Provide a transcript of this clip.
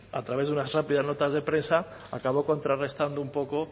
a través de unas rápidas notas de prensa acaba contrarrestando un poco